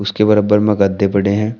उसके बराबर में गद्दे पड़े हैं।